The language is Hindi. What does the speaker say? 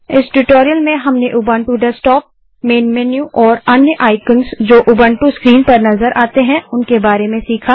इस ट्यूटोरियल में हमने उबंटू डेस्कटॉप मेन मेन्यू और अन्य आइकन्स जो उबंटू स्क्रीन पर नज़र आते हैं उनके बारे में सीखा